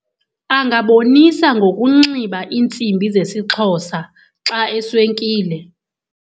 Angabonisa ngokunxiba iintsimbi zesiXhosa xa eswenkile.